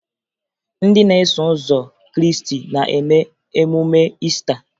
Ndị na-eso ụzọ Krịịstị na-eme emume Iista